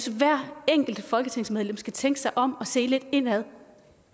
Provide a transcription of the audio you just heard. hvert enkelt folketingsmedlem skal tænke sig om og se lidt indad